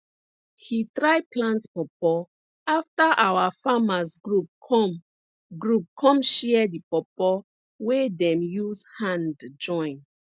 he try plant pawpaw afta our farmers group come group come share di pawpaw wey dem use hand join